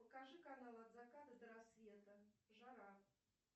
покажи канал от заката до рассвета жара